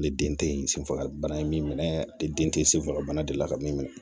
Ne den te ye sen fagabana ye min minɛ ale den tɛ senfaga bana de la ka min minɛ